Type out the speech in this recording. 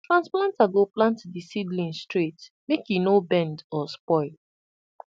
transplanter go plant the seedling straight make e no bend or spoil